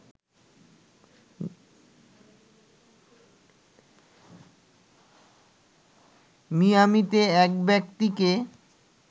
মিয়ামিতে এক ব্যক্তিকে